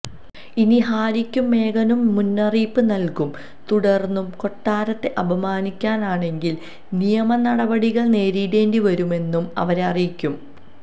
ഇനി ഹാരിക്കും മേഗനും മുന്നറിയിപ്പ് നൽകും തുടർന്നും കൊട്ടാരത്തെ അപമാനിക്കാനാണെങ്കിൽ നിയമനടപടികൾ നേരിടേണ്ടിവരുമെന്നും അവരെ അറിയിക്കും